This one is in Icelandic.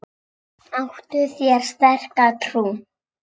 Áttu þér sterka trú?